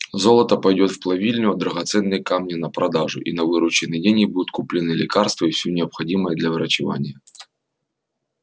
золото пойдёт в плавильню а драгоценные камни на продажу и на вырученные деньги будут куплены лекарства и всё необходимое для врачевания